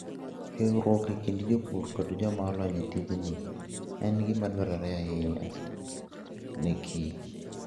Riwruok e kind jopur kod joma olony e tijni, en gima dwarore ahinya nekich.